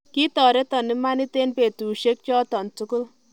Kitoreton imanit en petusiek choton tugul